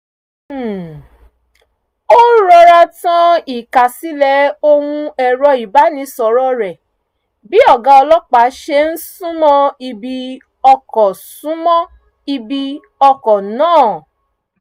um ó rọra tan ìkásílẹ̀ ohùn ẹ̀rọ ìbánisọ̀rọ̀ rẹ̀ bí ọ̀gá ọlọ́pàá ṣe ń súnmọ́ ibi ọkọ̀ súnmọ́ ibi ọkọ̀ náà